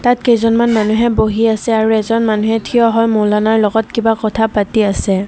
ইয়াত কেইজনমান মানুহে বহি আছে আৰু এজন মানুহে থিয় হৈ মৌলানাৰ লগত কিবা কথা পাতি আছে।